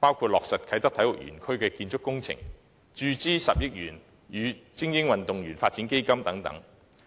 包括落實啟德體育園區的建築工程、注資10億元予精英運動員作為基本發展等。